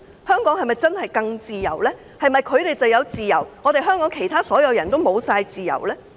香港是否真的會更自由？是否他們有自由，但香港所有其他人都沒有自由？